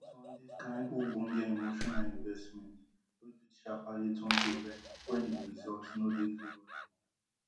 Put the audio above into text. e don turn dis kain ogbonge emotional investment wey fit sharparly turn to vex wen di results no dey favourable